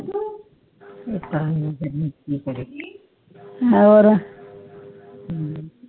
ਹੋਰ